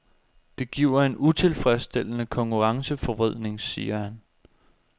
Det giver en utilfredsstillende konkurrenceforvridning, siger han.